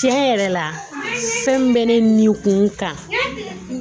Tiɲɛ yɛrɛ la fɛn min bɛ ne ni kun kan